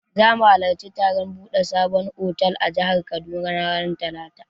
Za mu halarci taron buɗe sabon otal a jihar Kaduna ranar talata.